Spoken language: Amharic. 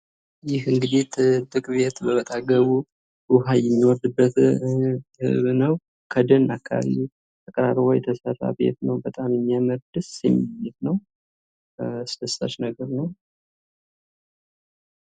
ይህ እንግዲህ ጥብቅ ቤት በአጠገቡ ውሃ የሚወርድበት ነው ከደን አካባቢ ተቀራርቦ የተሰራ ቤት ነው በጣም የሚያምር ደስ የሚል ቤት ነው ። አደሳች ነገር ነው ።